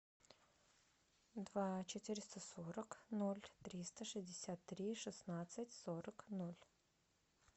два четыреста сорок ноль триста шестьдесят три шестнадцать сорок ноль